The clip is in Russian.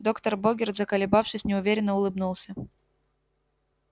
доктор богерт заколебавшись неуверенно улыбнулся